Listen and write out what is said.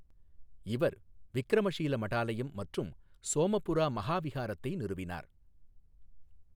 இவர் விக்ரமஷீல மடாலயம் மற்றும் சோமபுரா மஹாவிஹாரத்தை நிறுவினார்.